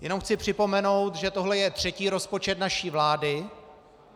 Jenom chci připomenout, že tohle je třetí rozpočet naší vlády.